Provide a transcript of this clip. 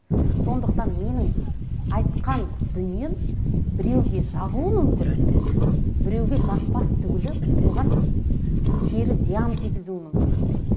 сондықтан менің айтқан дүнием біреуге жағуы мүмкін біреуге жақпас түгілі оған кері зиян тигізуі мүмкін